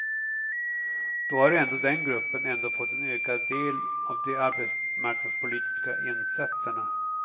Då har ändå den gruppen ändå fått en ökad del av de arbetsmarknadspolitiska insatserna.